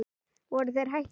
Voru þeir hættir við?